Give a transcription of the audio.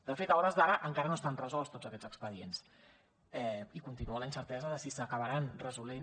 de fet a hores d’ara encara no estan resolts tots aquests expedients i continua la incertesa de si s’acabaran resolent